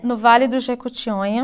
No Vale do Jequitinhonha